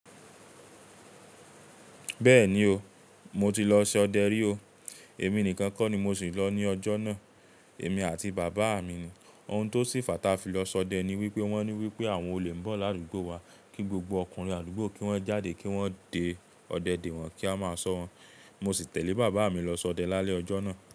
Bẹ́ẹ̀ni o, mo ti lọ sọdẹ rí o, èmi nìkan kọ́ ni mo sì lọ ní ọjọ́ náà, èmi àti bàbá mi ni. Ohun tó sì fàá táa fi lọ sọdẹ ni wípé wón ní wípé àwọn olè ń bọ̀ ládugbó wa, kí gbogbo ọkùnrin adugbó kí wón jáde kí wón de ọdẹ dé wọ́n kí a máa sọ wọn. Mo sì tẹ̀lé bàbá mi lọ sọdẹ lálẹ́ ọjọ́ náà.